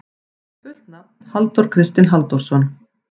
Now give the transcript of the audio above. Fullt nafn: Halldór Kristinn Halldórsson.